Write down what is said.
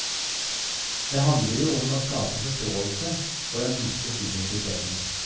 Det handler jo om å skape forståelse for den dype subjektiviteten.